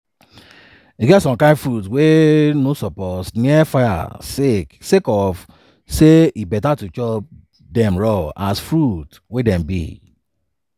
e get some kain fruits wey no suppose near fire sake of say e beta to chop dem raw as fruits wey dem be."